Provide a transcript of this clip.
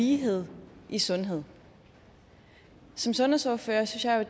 lighed i sundhed som sundhedsordfører synes jeg